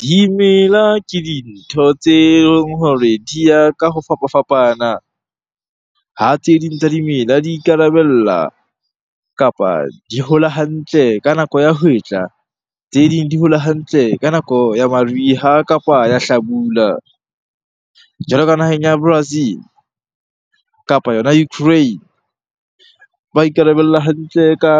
Dimela ke dintho tse leng hore di ya ka ho fapafapana. Ha tse ding tsa dimela di ikarabella kapa di hola hantle ka nako ya hwetla. Tse ding di hola hantle ka nako ya mariha kapa ya hlabula. Jwalo ka naheng ya Brazil kapa yona Ukraine. Ba ikarabella hantle ka